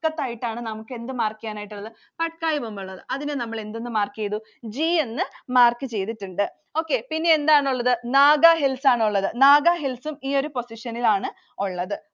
ആയിട്ടാണ് നമുക്ക് എന്ത് mark ചെയ്യാനായിട്ടുള്ളത്? Patkai Bum ഉള്ളത്. അതിന് നമ്മൾ എന്ത് mark ചെയ്‌തു? G എന്ന് mark ചെയ്‌തിട്ടുണ്ട്‌. Okay. പിന്നെ എന്താണുള്ളത് Naga Hills ആണുള്ളത്. Naga Hills ഉം ഈ ഒരു position ൽ ആണുള്ളത്.